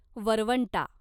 वरवंटा